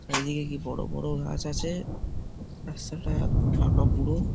চারিদিকে কি বড় বড় গাছ আছে রাস্তাটা ফাঁকা পুরো।